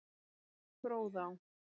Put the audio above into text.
Fróðá